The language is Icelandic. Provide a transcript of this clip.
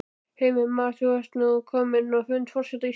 Heimir Már: Ert þú nú kominn á fund forseta Íslands?